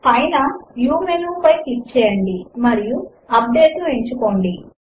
view menu పైన click చేయండి మరియు అప్డేట్ ను ఎంచుకోండి